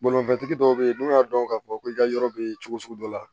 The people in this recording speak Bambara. Bolimafɛntigi dɔw be yen n'u y'a dɔn k'a fɔ ko i ka yɔrɔ be cogo sugu dɔ la